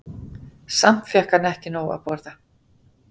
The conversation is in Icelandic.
Samt fékk hann nóg að borða.